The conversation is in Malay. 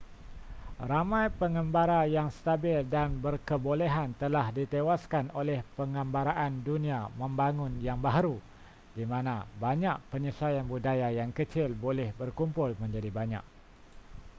ramai pengembara yang stabil dan berkebolehan telah ditewaskan oleh pengembaraan dunia membangun yang baharu di mana banyak penyesuaian budaya yang kecil boleh berkumpul menjadi banyak